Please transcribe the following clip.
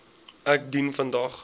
ek dien vandag